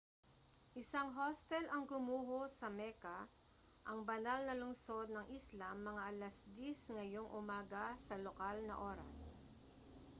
isang hostel ang gumuho sa mecca ang banal na lungsod ng islam mga alas-10 ngayong umaga sa lokal na oras